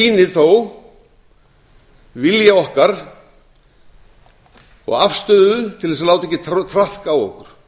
sýnir þó vilja okkar og afstöðu til þess að